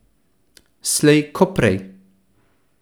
Slej ko prej.